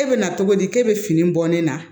E bɛ na cogo di e bɛ fini bɔ ne na